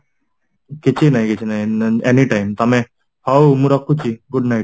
କିଛି ନାହିଁ କିଛି ନାହିଁ any time ତମେ ହଉ ମୁ ରଖୁଛି good night